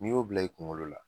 Ni y'o bila i kunkolo la